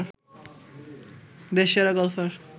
দেশসেরা golfer